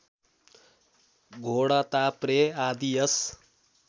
घोडताप्रे आदि यस